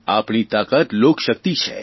આપણી તાકાત લોકશકિત છે